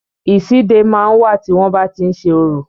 Ìsíde máa ń wà, tí wọn bá ti ń ṣe orò